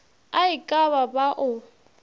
a e ka ba o